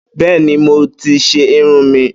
Bẹ́ẹ́ni, mo tí ṣe irun mí.